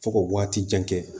Fo ka waati jan kɛ